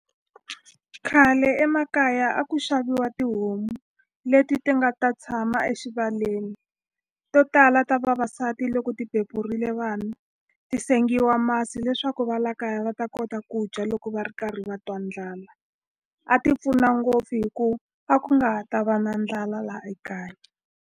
Khale emakaya a ku xaviwa tihomu leti ti nga ta tshama exivaleni to tala ta vavasati loko ti beburile vanhu ti sengiwa masi leswaku va la kaya va ta kota ku dya loko va ri karhi va twa ndlala a ti pfuna ngopfu hi ku a ku nga ta va na ndlala la ekaya.